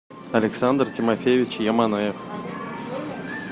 александр тимофеевич яманаев